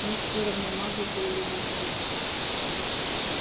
мне всё равно магл ты или волшебник